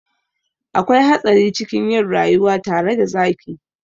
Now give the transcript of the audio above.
Akwai hatsari cikin yin rayuwa tare da zaki.